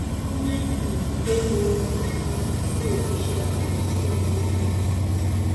o ní um pé mo um nílò iṣẹ abẹ tí um ò fi bẹẹ